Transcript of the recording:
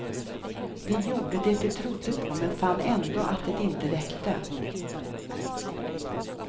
De gjorde det de trodde på men fann ändå att det inte räckte.